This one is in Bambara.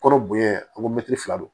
Kɔnɔ bonya an ko mɛtiri fila don